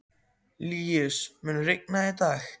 Líus, mun rigna í dag?